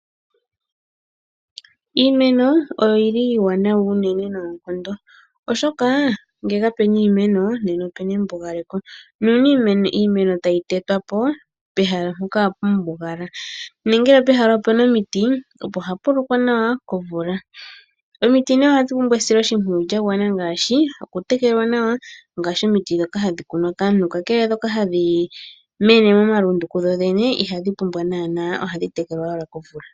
Iimeno oyi li iiwanawa unene noonkondo, oshoka ngele kapu na iimeno nena opu na embugaleko. Uuna iimeno tayi tetwa po, pehala mpoka ohapu mbugala nongele pehala opu na omiti, opo hapu lokwa nawa komvula. Omiti nee ohadhi pumbwa esiloshimpwiyu lya gwana ngaashi okutekelwa nawa ngaashi omiti ndhoka hadhi kunwa kaantu. Kakele ndhoka hadhi mene momalundu kudhodhene ihadhi pumbwa okutekelwa ohadhi tekelwa owala komvula.